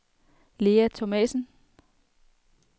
Lea Thomasen